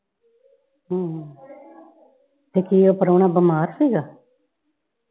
ਹਮ ਤੇ ਕੀ ਇਹ ਪ੍ਰਾਹੁਣਾ ਬਿਮਾਰ ਸੀਗਾ?